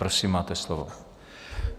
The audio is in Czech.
Prosím, máte slovo.